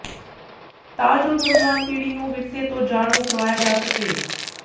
ਤਾਂ ਜੋ ਨੌਜਵਾਨ ਪੀੜੀ ਨੂੰ ਵਿਰਸੇ ਤੋਂ ਜਾਣੂੰ ਕਰਵਾਇਆ ਜਾ ਸਕੇ